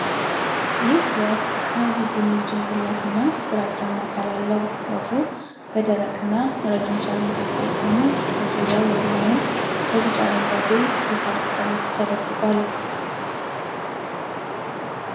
ይህ ወፍ ቀይ ቡኒ ጭንቅላት እና ግራጫማ አካል አለው። ወፉ በደረቅና ረጅም ሣር መካከል ቆሞ በዙሪያው ያለውን በቢጫ-አረንጓዴ የሣር ቅጠሎች ተደብቋል።